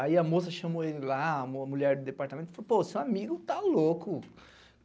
Aí a moça chamou ele lá, a mulher do departamento, falou, pô, seu amigo tá louco.